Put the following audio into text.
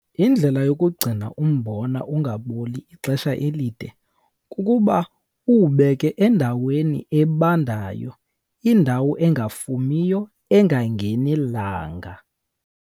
Indlela yokugcina umbona ungaboli ixesha elide kukuba uwubeke endaweni ebandayo, indawo engafumiyo, engangeni langa.